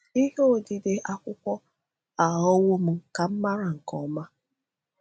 Ihe odide akwụkwọ aghọwo m ka m mara nke ọma.